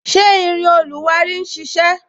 Ṣé irin oluwari ń sisẹ?